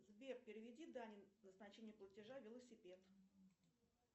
сбер переведи дане назначение платежа велосипед